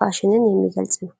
ፋሽንን የሚገልጽ ነው።